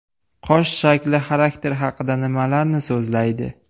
Qosh shakli xarakter haqida nimalarni so‘zlaydi?